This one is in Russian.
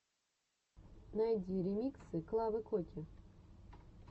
найди ремиксы клавы коки